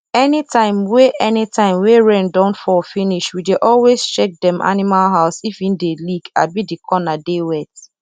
anytime wey anytime wey rain don fall finish we dey always check dem animal house if e dey leak abi the corner dey wet